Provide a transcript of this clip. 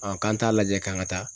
k'an t'a lajɛ k'an ka taa